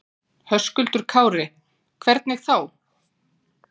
Höskuldur Kári: Hvernig þá?